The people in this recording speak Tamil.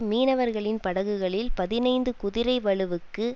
மீனவர்களின் படகுகளில் பதினைந்து குதிரைவலுவுக்கு